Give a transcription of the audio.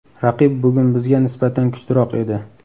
Raqib bugun bizga nisbatan kuchliroq edi.